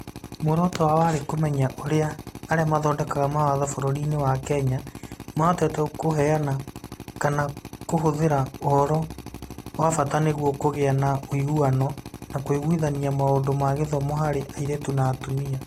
Muoroto wao warĩ kũmenya ũrĩa arĩa mathondekaga mawatho bũrũriinĩ wa Kenya mahotete kũheana kana kũhũthĩra ũhoro wa bata nĩguo kũgĩe na ũiguano na kũiguithania maũndũ ma gĩthomo harĩ airĩtu na atumia.